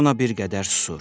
İona bir qədər susur.